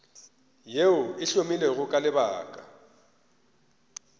yeo e hlomilwego ka lebaka